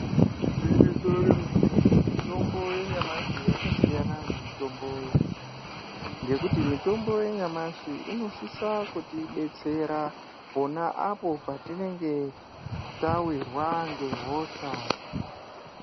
Igwinyiso remene-mene, mitombo yenyamashi yakasiyana nemitombo yakudhaya. Ngekuti mitombo yanyamashi inosise kuti betsera pona apo patinenge tavirwa ngehosha.